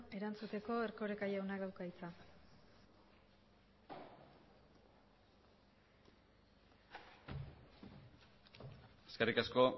erantzuteko erkoreka jaunak dauka hitza eskerrik asko